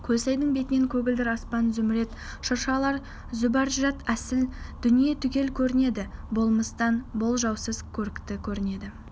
көлсайдың бетінен көгілдір аспан зүмірет шыршалар зүбәржат есіл дүние түгел көрінеді болмыстан болжаусыз көрікті көрінеді